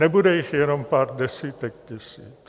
Nebude jich jenom pár desítek tisíc.